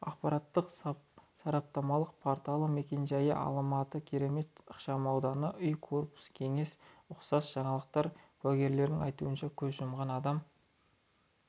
ақпараттық-сараптамалық порталы мекен-жайы алматы керемет ықшамауданы үй корпус кеңсе ұқсас жаңалықтар куәгерлердің айтуынша көз жұмған адам